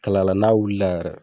Kalayala n'a wulila yɛrɛ